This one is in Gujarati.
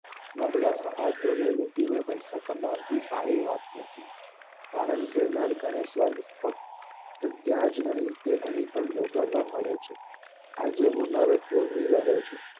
નબળા ને લુટી ને પૈસા કમાવી આ સારી વાત નહિ કારણકે નર્ક અને સ્વર્ગ એ ત્યાં જ નહિ પણ અહીં પણ ભોગવવા પડે છે આજે હું નર્ક ભોગવી રહ્યો છું